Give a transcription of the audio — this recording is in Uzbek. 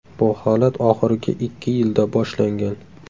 Bu holat oxirgi ikki yilda boshlangan.